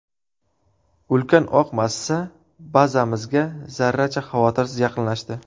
Ulkan oq massa bazamizga zarracha xavotirsiz yaqinlashdi.